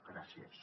gràcies